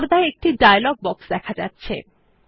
পর্দায় একটি dialog box দেখা যাচ্ছে